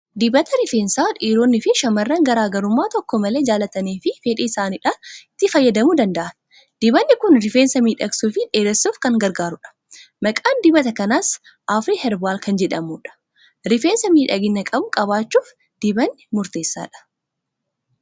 Dibata rifeensaa dhiironnii fi shamarran garaa garummaa tokko malee jaallatanii fi fedhii isaaniidhaan itti fayyadamuu danda'an. Dibanni kun rifeensa miidhagsuufi dheeressuuf kan gargaarudha. Maqaan dibata kanaas afirii herbaal kan jedhamudha. Rifeensa miidhagina qabu qabaachuuf dibanni murteessaadha.